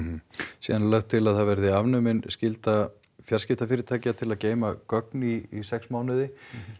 síðan er lagt til að það verði afnumin skylda fjarskiptafyrirtækja til þess að geyma gögn í sex mánuði